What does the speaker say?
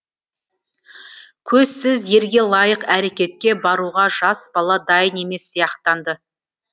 көзсіз ерге лайық әрекетке баруға жас бала дайын емес сияқтанды